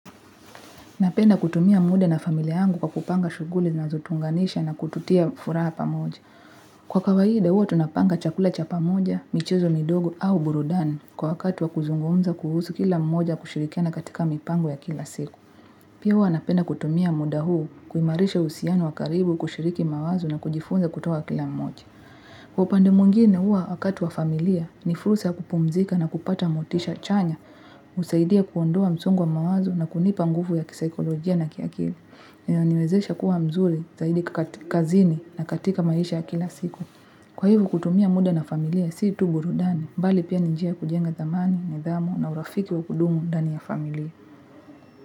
Napenda kutumia muda na familia yangu kwa kupanga shuguli zinazo tuunganisha na kututia furaha pamoja. Kwa kawaida, huwa tunapanga chakula cha pamoja, michezo midogo au burudani kwa wakati wa kuzungumza kuhusu kila mmoja kushirikiana katika mipango ya kila siku. Pia huwa napenda kutumia muda huu kuimarisha uhusiano wakaribu kushiriki mawazo na kujifunza kutoa kila mmoja. Kwa upande mwingine huwa wakati wa familia, ni frusa ya kupumzika na kupata motisha chanya, husaidia kuondoa msongo wa mawazo na kunipa nguvu ya kisikolojia na kiakili niwezesha kuwa mzuri, zaidi kazini na katika maisha ya kila siku Kwa hivyo kutumia muda na familia, si tu burudani, mbali pia ni njia kujenga thamani, nidhamu na urafiki wa kudumu dani ya familia.